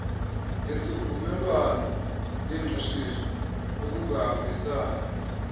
yesivumelwano sengqeshiso ukuhambisana